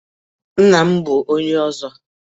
Nna m bụ onye Ọzọ